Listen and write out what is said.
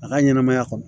A ka ɲɛnɛmaya kɔnɔ